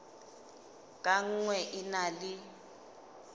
ka nngwe e na le